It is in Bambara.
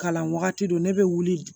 Kalan wagati don ne bɛ wuli